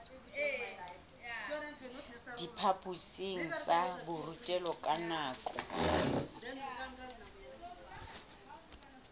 diphaphosing tsa borutelo ka nako